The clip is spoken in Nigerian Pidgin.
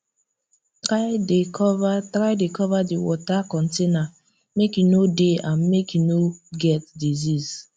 try dey cover try dey cover d water container make e no dey and make e no get disease